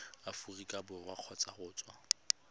aforika borwa kgotsa go tswa